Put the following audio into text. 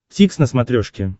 дтикс на смотрешке